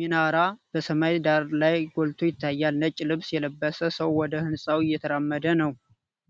ሚናራ በሰማይ ዳራ ላይ ጎልቶ ይታያል። ነጭ ልብስ የለበሰ ሰው ወደ ሕንፃው እየተራመደ ነው።